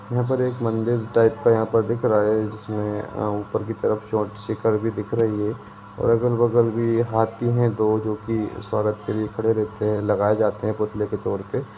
यहा पे एक मंदिर टाइप का यहाँ पर दिख रहा है जिसमे अ- उप्पर की तरफ चोत्सी कर दिख रही है और अगल -बगल भि हाथी है दो जो की स्वागत के लिए खड़े रहेते है लगाए जाते है पुतले के तोर पे।